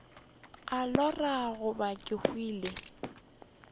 a lora goba ke hwile